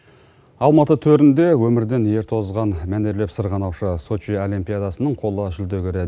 алматы төрінде өмірден ерте озған мәнерлеп сырғанаушы сочи олимпиадасының қола жүлдегері